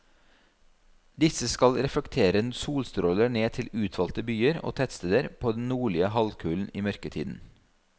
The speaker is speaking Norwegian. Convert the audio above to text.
Disse skal reflektere solstråler ned til utvalgte byer og tettsteder på den nordlige halvkulen i mørketiden.